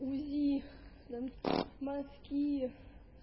узи нам мазки